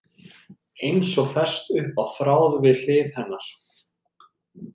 Eins og fest upp á þráð við hlið hennar.